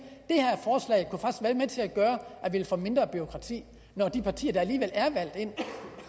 det med til at gøre at vi ville få mindre bureaukrati når de partier der alligevel er valgt ind